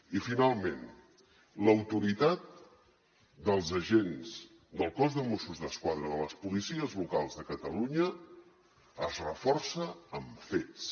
i finalment l’autoritat dels agents del cos de mossos d’esquadra de les policies locals de catalunya es reforça amb fets